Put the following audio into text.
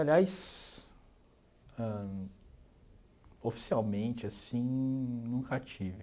Aliás, ãh oficialmente, assim, nunca tive.